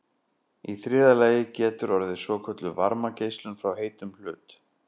í þriðja lagi getur orðið svokölluð varmageislun frá heitum hlut